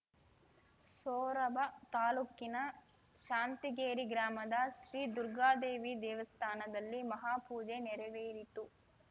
ಸೋರಬ ತಾಲೂಕಿನ ಶಾಂತಗೇರಿ ಗ್ರಾಮದ ಶ್ರೀ ದುರ್ಗಾದೇವಿ ದೇವಸ್ಥಾನದಲ್ಲಿ ಮಹಾಪೂಜೆ ನೆರವೇರಿತು